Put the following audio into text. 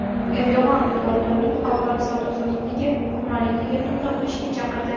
Erdo‘g‘on dollarning xalqaro savdo-sotiqdagi hukmronligiga nuqta qo‘yishga chaqirdi.